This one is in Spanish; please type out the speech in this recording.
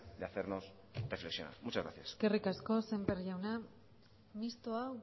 de hacernos reflexionar muchas gracias eskerrik asko sémper jauna mistoa